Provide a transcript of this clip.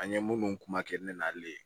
An ye minnu kuma kɛ ne n'ale